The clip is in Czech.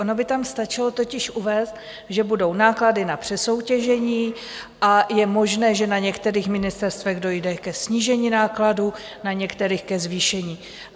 Ono by tam stačilo totiž uvést, že budou náklady na přesoutěžení, a je možné, že na některých ministerstvech dojde ke snížení nákladů, na některých ke zvýšení.